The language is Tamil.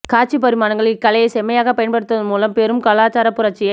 காட்சிப் பரிமாணங்கள் இக்கலையைச் செம்மையாகப் பயன்படுத்துவதன் மூலம் பெரும் கலாச்சாரப் புரட்சியை